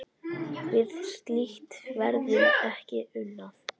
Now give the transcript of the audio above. Við slíkt verður ekki unað.